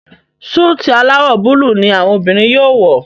Súìtì alawọ Búlúù ní àwọn obìrin yóò wọ.